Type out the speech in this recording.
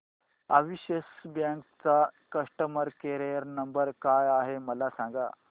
Axis bank चा customer care number काय आहे मला सांगा